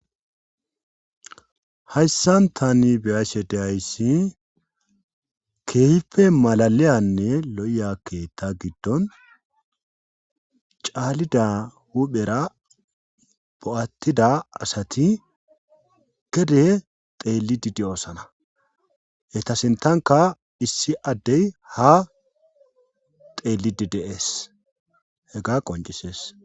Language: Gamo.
Hayssan tani beyaashe dehayssi keehife malaliyanne lo7ya keetta giddon caalida huphera bo7attida asati gede xeeli didi oosana etasintanka issi addey ha teellidideees hega qoncisees